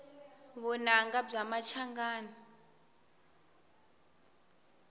vunanga bya machangani